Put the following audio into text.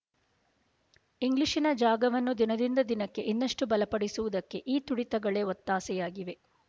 ಇಂಗ್ಲಿಶಿನ ಜಾಗವನ್ನು ದಿನದಿಂದ ದಿನಕ್ಕೆ ಇನ್ನಷ್ಟು ಬಲಪಡಿಸುವುದಕ್ಕೆ ಈ ತುಡಿತಗಳೇ ಒತ್ತಾಸೆಯಾಗಿವೆ